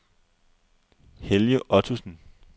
Helge Ottosen